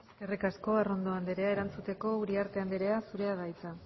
eskerrik asko arrondo anderea erantzuteko uriarte anderea zurea da hitza